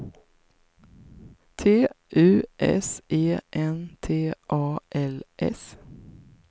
T U S E N T A L S